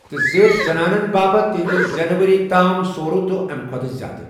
تہٕ زِیٹھ، زنانَن باپتھ تِہنٛدِ زیٚنہٕ ؤری تام سُورَہ تہٕ اَمہِ کھۄتہٕ زِیٛادٕ۔